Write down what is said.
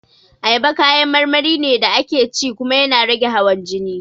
Ayaba kayan marmari ne da ake ci kuma yana rage hawan jini